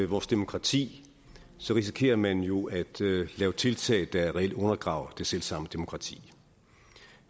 vores demokrati risikerer man jo at lave tiltag der reelt undergraver det selv samme demokrati